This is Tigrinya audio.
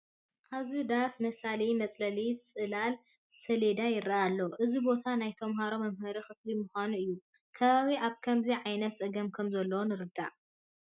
ኣብዚ ዳስ መሳሊ መፅለሊ ፀሊም ሰሌዳ ይርአ ኣሎ፡፡ እዚ ቦታ ናይ ተመሃሮ መምሃሪ ክፍሊ ምዃኑ እዩ፡፡ ከባቢና ኣብ ከምዚ ዓይነት ፀገም ከምዘሎ ንረዳእ፡፡